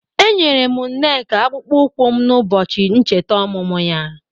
Enyere m nneka akpụkpọ ụkwụ m n'ụbọchị ncheta ọmụmụ ya